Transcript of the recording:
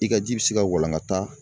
I ka ji bɛ se ka walangata